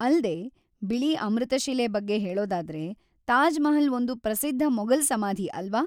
ಅಲ್ದೇ, ಬಿಳಿ ಅಮೃತಶಿಲೆ ಬಗ್ಗೆ ಹೇಳೋದಾದ್ರೆ, ತಾಜ್‌ ಮಹಲ್‌ ಒಂದು ಪ್ರಸಿದ್ಧ ಮೊಘಲ್‌ ಸಮಾಧಿ ಅಲ್ವಾ?